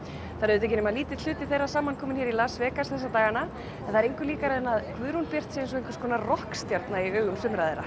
það er auðvitað ekki nema lítill hluti þeirra samankomin hér í Las Vegas þessa dagana en það er engu líkara en að Guðrún Björt sé einhverskonar rokkstjarna í augum sumra þeirra